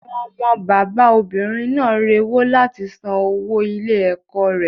Àwọn ọmọ bàbá obìnrin náà rewó láti san owó ilé ẹ̀kọ́ rẹ̀.